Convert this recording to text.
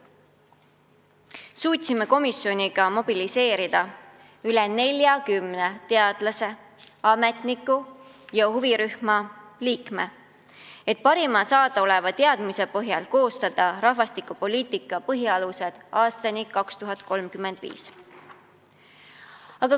Me suutsime komisjoniga mobiliseerida üle 40 teadlase, ametniku ja huvirühma liikme, et parimate olemasolevate teadmiste põhjal koostada "Rahvastikupoliitika põhialused aastani 2035".